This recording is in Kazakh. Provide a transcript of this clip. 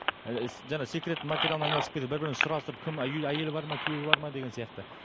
ііі жаңа секретный материалмен айналысып кетеді бір бірін сұрастырып кім үй әйелі бар ма күйеуі бар ма деген сияқты